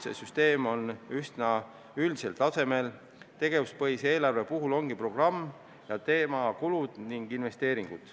See süsteem on üsna üldisel tasemel, tegevuspõhise eelarve puhul ongi programm ning teema "kulud ja investeeringud".